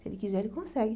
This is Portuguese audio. Se ele quiser, ele consegue.